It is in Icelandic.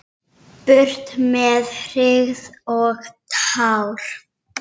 Burt með hryggð og tár!